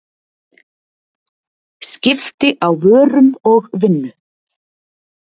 skipti á vörum og vinnu